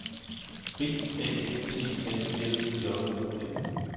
B A T A L J O N